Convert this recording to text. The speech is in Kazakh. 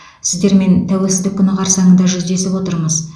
сіздермен тәуелсіздік күні қарсаңында жүздесіп отырмыз